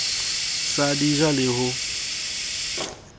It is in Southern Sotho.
sa di ja le ho